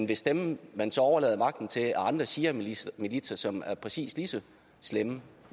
hvis dem man så overlader magten til er andre shiamilitser som er præcis lige så slemme